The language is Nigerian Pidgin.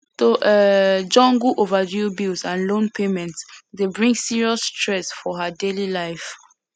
to um juggle overdue bills and loan payments dey bring serious stress for her daily life